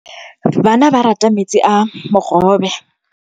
Bana ba rata metsi a mogobe.